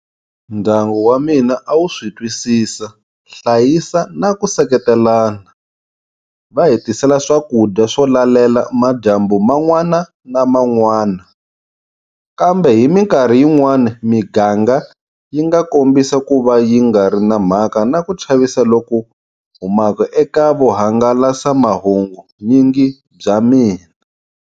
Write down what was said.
Ndyangu wamina a wu switwisisa, hlayisa na ku seketelana, va hi tisela swakudya swo lalela madyambu man'wana na man'wana, kambe hi mikarhi yin'wana miganga yi nga kombisa ku va yi nga ri na mhaka na ku chavisa loku humaka eka vuhangalasamahungunyingi bya mani.